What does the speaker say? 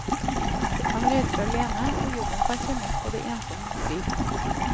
Han reiser alene, og jobben kan kjennes både ensom og stri.